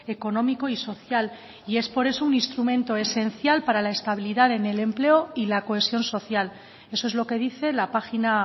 económico y social y es por eso un instrumento esencial para la estabilidad en el empleo y la cohesión social eso es lo que dice la página